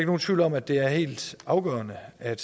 nogen tvivl om at det er helt afgørende at